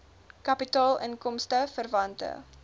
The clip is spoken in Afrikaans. kapitaal inkomste verwante